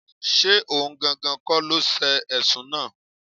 Ṣé ohun gangan kọ́ ló ṣe Ẹ̀sùn náà?